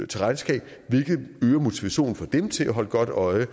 til regnskab hvilket øger motivationen for dem til at holde godt øje